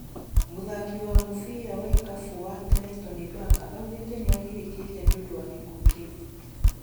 Mũthaki wa mũbira wa ikabũ wa tene Toni Baka augite niagirĩkĩte nĩũndũ wa gĩkuũ kĩu.